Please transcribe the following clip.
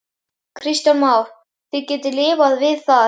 Kristján Már: Þið getið lifað við það?